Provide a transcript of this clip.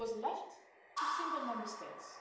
It was left to single Member States.